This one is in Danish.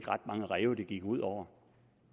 ret mange ræve det gik ud over